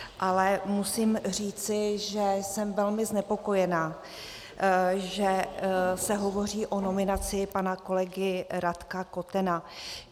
Ale musím říct, že jsem velmi znepokojená, že se hovoří o nominaci pana kolegy Radka Kotena.